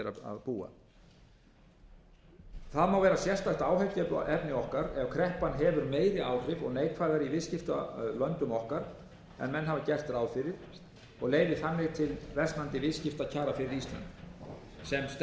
búa það má vera sérstakt áhyggjuefni okkar ef kreppan hefur meiri áhrif og neikvæðari í viðskiptalöndum okkar en menn hafa gert ráð fyrir og leiði þannig til versnandi viðskiptakjara fyrir ísland sem stendur er þó ekki ástæða til að hafa af því stórar